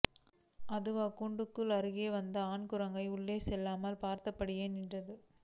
அதாவது கூண்டுக்கு அருகே வந்த ஆண் குரங்கை உள்ளே செல்லாமல் பார்த்தபடியே நின்றது